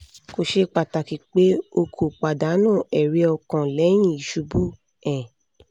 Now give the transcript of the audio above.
ko ṣe pataki pe o ko padanu ẹri-ọkan lẹhin isubu um